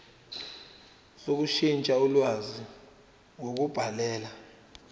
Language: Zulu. sokushintsha ulwazi ngokubhalela